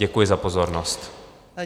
Děkuji za pozornost.